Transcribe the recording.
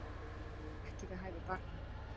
Ekki við hæfi barna